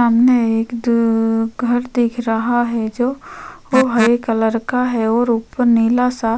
सामने एक दो घर दिख रहा है जो वो हरे कलर का है और उपर नीला सा